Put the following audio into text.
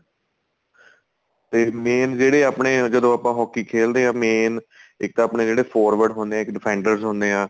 ਤੇ main ਜਿਹੜੇ ਆਪਣੇ ਜਦੋਂ ਆਪਾਂ hockey ਖੇਲਦੇ ਆ main ਇੱਕ ਆਪਣੇ ਜਿਹੜੇ forwards ਹੁੰਦੇ ਆ defenders ਹੁੰਦੇ ਆ